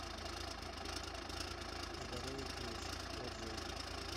здоровье плюс отзывы